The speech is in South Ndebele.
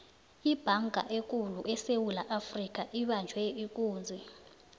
ibhanga ekulu esewula afrika ibanjwe ikunzi